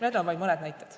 Need on vaid mõned näited.